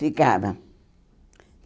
Ficava.